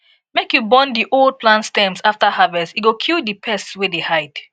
make you burn di old plant stems afta harvest e go kill di pests wey dey hide